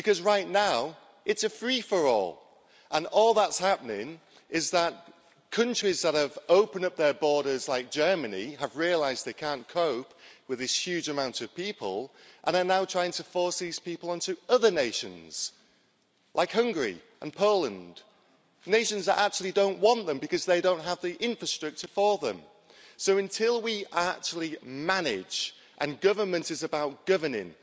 Right now it's a free for all, and all that's happening is that the countries that have opened up their borders like Germany have realised that they can't cope with this huge amount of people and are now trying to force these people onto other nations, like Hungary and Poland nations that don't want them because they don't have the infrastructure for them. So until we actually manage and government is about governing,